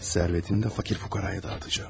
Sərvətini də fakir fukaraya dağıtacağım.